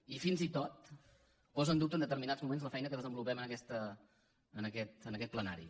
i fins i tot posa en dubte en determinats moments la feina que desenvolupem en aquest plenari